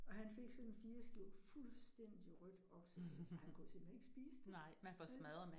Og han fik sådan 4 skiver fuldstændig rødt oksekød, og han kunne simpelthen ikke spise det vel